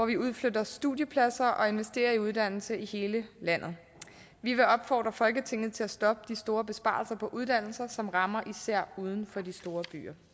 vi udflytter studiepladser og investerer i uddannelse i hele landet vi vil opfordre folketinget til at stoppe de store besparelser på uddannelser som rammer især uden for de store